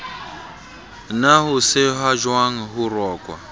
na ho sehwajwang ho rokwa